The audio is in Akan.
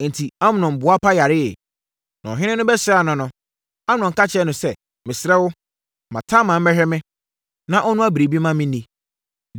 Enti, Amnon boapa yareeɛ. Na ɔhene no bɛsraa no no, Amnon ka kyerɛɛ no sɛ, “Mesrɛ wo, ma Tamar mmɛhwɛ me, na ɔnnoa biribi mma menni.”